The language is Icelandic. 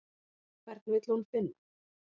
Hvern vill hún finna?